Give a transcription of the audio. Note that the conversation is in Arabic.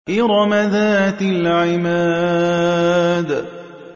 إِرَمَ ذَاتِ الْعِمَادِ